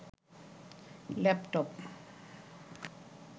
laptop